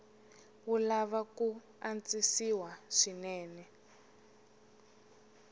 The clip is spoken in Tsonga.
wu lava ku antswisiwa swinene